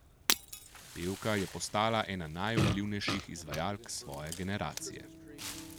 Pevka je postala ena najvplivnejših izvajalk svoje generacije.